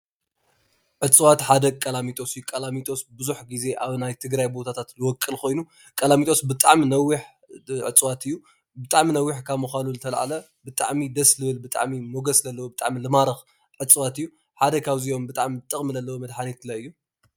ዕፅዋት ሓደ ቆላሚጦስ እዩ። ቆላሚጦስ ብዙሕ ግዜ ኣብ ናይ ትግራይ ቦታታት ዝቦቅል ኮይኑ፣ ቆላሚጦስ ብጣዓሚ ነዊሕ ዕፅዋት እዩ። ብጣዓሚ ነዊሕ ካብ ምኳኑ ዝተልዓለ ብጣዓሚ ደስ ዝብል፣ ብጣዓሚ ሞጎስ ዘለዎ፣ ብጣዓሚ ዝማርኽ ዕፅዋት እዩ። ሓደ ካብእዚኦ ጥቅሚ ዘለዎ መደሓኒት እዩ።